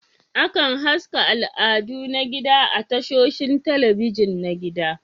Akan haska al'adu na gida a tashoshin talabijin na gida